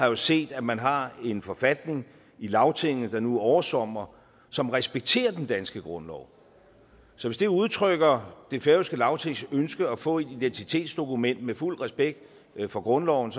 jo set at man har en forfatning i lagtinget der nu oversomrer som respekterer den danske grundlov så hvis det udtrykker det færøske lagtings ønske at få et identitetsdokument med fuld respekt for grundloven